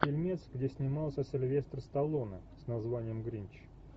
фильмец где снимался сильвестр сталлоне с названием гринч